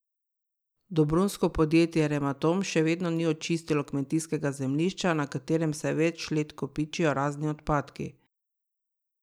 Dobrunjsko podjetje Rematom še vedno ni očistilo kmetijskega zemljišča, na katerem se več let kopičijo razni odpadki.